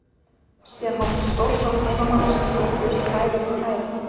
Síðan hófst stórsókn heimamanna sem sköpuðu sér færi eftir færi.